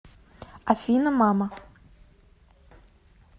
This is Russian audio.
афина мама